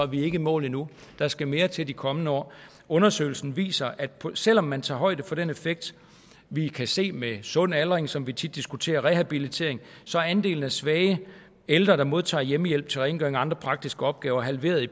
vi ikke i mål endnu der skal mere til i de kommende år undersøgelsen viser at selv om man tager højde for den effekt vi kan se med sund aldring som vi tit diskuterer og rehabilitering så er andelen af svage ældre der modtager hjemmehjælp til rengøring og andre praktiske opgaver halveret i